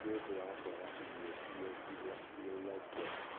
nĩũndũ wa kũaga irio iria cia iria njega.